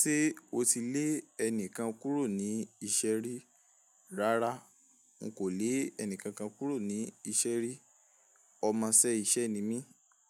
Ṣé o ti lé ẹni kan kúrò ní iṣẹ́ rí? Rárá, n kò le ẹni kankan kúrò ní iṣẹ́ rí. Ọmọṣẹ́ iṣẹ́ ni mí,